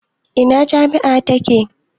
Ina jami'a take?